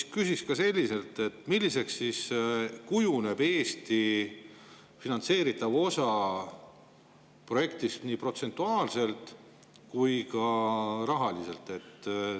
Ma küsiksin selliselt: milliseks kujuneb siis Eesti finantseeritav osa projektist nii protsentuaalselt kui ka rahaliselt?